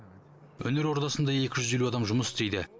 өнер ордасында екі жүз елу адам жұмыс істейді